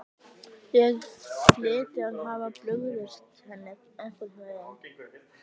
Ég hlyti að hafa brugðist henni einhvern veginn.